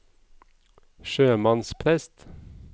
sjømannsprest